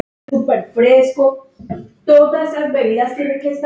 Það er nú eða aldrei.